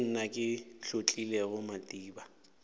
ke nna ke hlotlilego madiba